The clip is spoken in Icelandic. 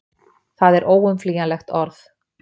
Það er óumflýjanlegt orð.